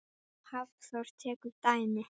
Hafþór tekur dæmi.